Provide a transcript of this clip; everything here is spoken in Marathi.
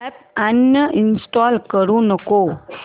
अॅप अनइंस्टॉल करू नको